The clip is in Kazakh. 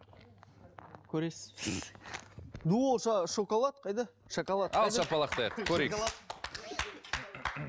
көресіз ду қол шоколад қайда шоколад қайда ал шапалақтайық көрейік